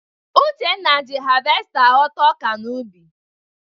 Uchenna ji havesta aghọta ọka n'ubi.